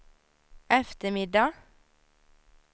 eftermiddag